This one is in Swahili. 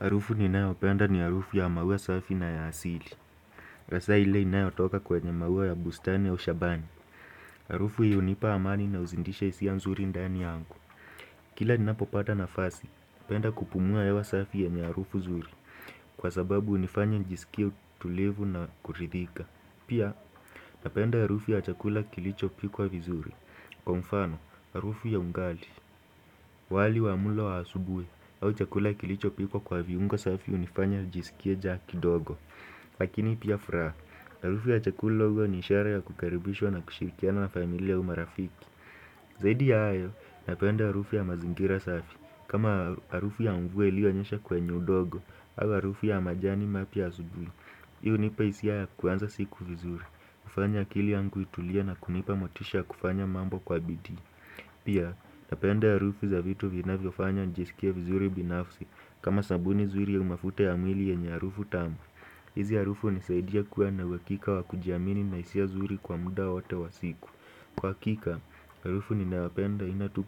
Harufu ninayopenda ni harufu ya maua safi na ya asili. Hasaa ile inayotoka kwenye maua ya bustani au shambani harufu hii unipa amani na uzindisha hisia nzuri ndani yangu. Kila ninapopata nafasi, penda kupumua hewa safi yenye arufu zuri. Kwa sababu hunifanya nijisikie utulivu na kuridhika. Pia, napenda harufu ya chakula kilichopikwa vizuri. Kwa mfano, harufu ya ugali wali wa mlo wa asubuhi, au chakula kilichopikwa kwa viungo safi hunifanya nijisikie njaa kidogo. Lakini pia furaha, harufu ya chakula huwa ni ishara ya kukaribishwa na kushirikiana na familia au marafiki. Zadi ya ayo, napenda harufu ya mazingira safi. Kama harufu ya mvua iliyonyesha kwenye udogo, au arufu ya majani mapya asubui. Hii hunipa hisia ya kuanza siku vizuri. Hufanya akili yangu itulie na kunipa motisha kufanya mambo kwa bidii. Pia, napenda harufu za vitu vinavyofanya nijisikie vizuri binafsi kama sabuni zuri au mafuta ya mwili yenye harufu tamu hizo harufu hunisaidia kuwa na uakika wa kujiamini na isia zuri kwa muda wote wa siku Kwa akika, arufu ninayopenda aina tu